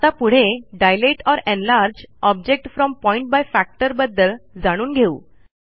आता पुढे dilate or enlarge object from point by factor बद्दल जाणून घेऊ